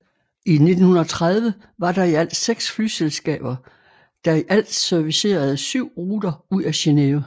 I 1930 var der i alt seks flyselskaber der i alt servicerede syv ruter ud af Genève